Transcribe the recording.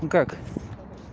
не как